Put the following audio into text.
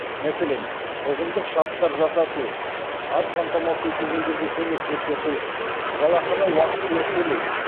мәселен ұжымдық шарттар жасасу аз қамтамасыз етілгендерге көмек көрсету жалақыны уақытылы төлеу